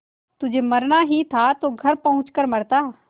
तुझे मरना ही था तो घर पहुँच कर मरता